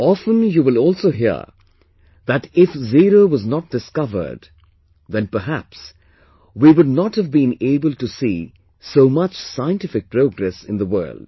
Often you will also hear that if zero was not discovered, then perhaps we would not have been able to see so much scientific progress in the world